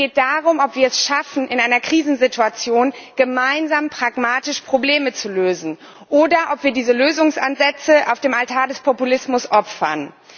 Es geht darum, ob wir es schaffen, in einer Krisensituation gemeinsam pragmatisch Probleme zu lösen, oder ob wir diese Lösungsansätze auf dem Altar des Populismus opfern.